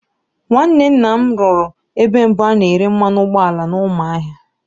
Nwanne nna anyị rụrụ ebe mbụ a na-ere mmanụ ụgbọala n'Ụmụahịa.